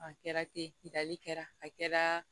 A kɛra ten dali kɛra a kɛra